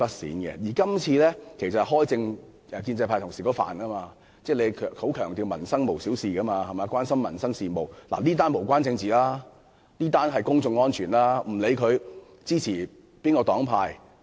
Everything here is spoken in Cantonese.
再者，處理今次事件可謂是建制派同事的強項，因為他們經常強調"民生無小事"，又關心民生事務，是次事件無關政治，屬於公眾安全問題，不論議員屬何黨派......